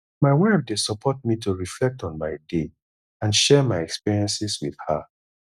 my wife dey support me to reflect on my day and share my experiences with her